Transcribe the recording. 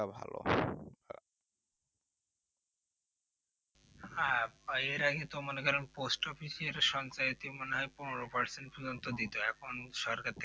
হ্যাঁ এর আগে তো মনে করেন পোস্ট অফিসের সঞ্চয় তে মনে হয় পনোরো present মতো দিত এখন